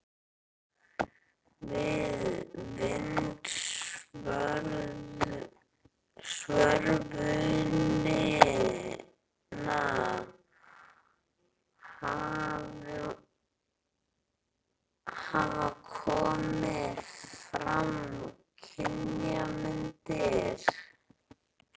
Við vindsvörfunina hafa komið fram kynjamyndir.